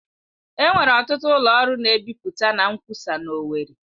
Enwere ọtụtụ ụlọ ọrụ na-ebipụta na nkwụsa na owerri.